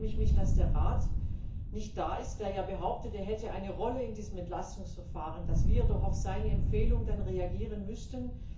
Zum einen schäme ich mich, dass der Rat nicht da ist, der ja behauptet, er hätte eine Rolle in diesem Entlastungsverfahren, und dass wir doch auf seine Empfehlung reagieren müssten.